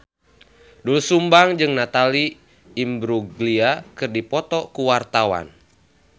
Doel Sumbang jeung Natalie Imbruglia keur dipoto ku wartawan